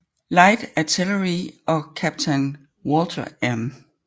Light Artillery og kaptajn Walter M